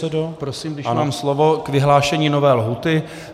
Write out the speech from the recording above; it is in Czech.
Ještě prosím, když mám slovo, k vyhlášení nové lhůty.